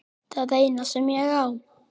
Það eina sem ég á.